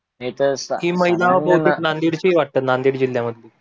हि महिला कि नांदेडशी वाटत नांदेड जिल्ह्य मधली